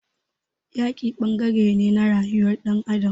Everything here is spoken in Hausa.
Yaki ɓangaren ne na rayuwar ɗan adam.